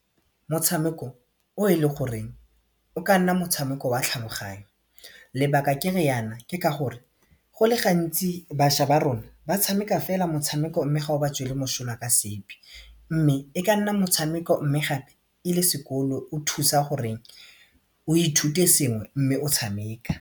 Motshameko o e leng goreng o ka nna motshameko wa tlhaloganyo lebaka ke riana ke ka gore go le gantsi bašwa ba rona ba tshameka fela motshameko mme ga o ba tswele mošola ka sepe mme e ka nna motshameko mme gape e le sekolo o thusa gore o ithute sengwe mme o tshameka.